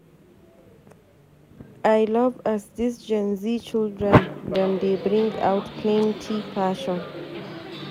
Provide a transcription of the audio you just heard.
I love as dis Gen Z children dem dey bring out plenty fashion.